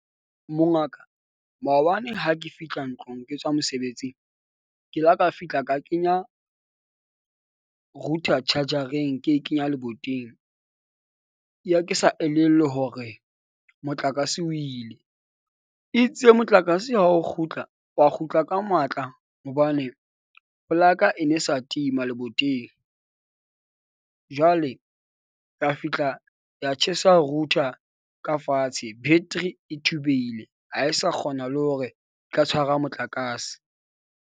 Mongaka, maobane ha ke fihla ntlong, ke tswa mosebetsing ke la ka fihla ka kenya router charger-eng ke e kenya leboteng. Ya ke sa elellwe hore motlakase o ile. Itse motlakase ha o kgutla, wa kgutla ka matla hobane polaka e ne sa tima leboteng. Jwale ka fihla ya tjhesa router ka fatshe. Battery e thubehile ha e sa kgona le hore e ka tshwara motlakase.